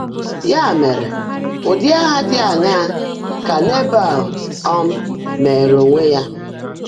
Yá mèrè, ụ́dị́ áhá ḍị́ áṅaá kà Nèbã́l um mèèré óńwé yá?